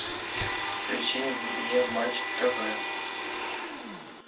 включи мне матч тв